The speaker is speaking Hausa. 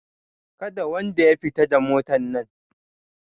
Kada wanda ya fita da motan nan!